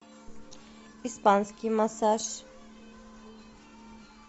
испанский массаж